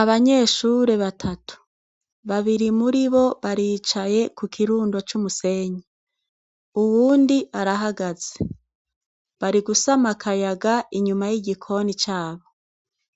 Abanyeshure batatu. Babiri muri bo baricaye ku kirundo cy'umusenyi. Uwundi arahagaze. Bari gusama akayaga inyuma y'igikoni cabo.